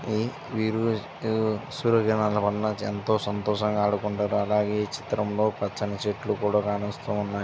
ఉమ్ వీరు సూర్యకిరణాలు వలన ఏంతో సంతోషంగా ఆడుకుంటారు అలాగే ఈ చిత్రం లో పచ్చని చెట్లు కూడా కానొస్తు వున్నాయ్.